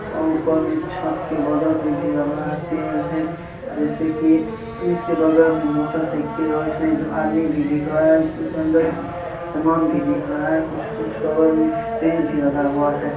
ओर ऊपर मे छत के बगल मे भी लगा है पेड़ है जैसे की जिसके बगल मे मोटरसाइकिल है इसमे दो आदमी भी दिख रहा है इसमे अंदर समान भी दिख रहा है कुछ-कुछ बगल मे पेड़ भी लगा हुआ है।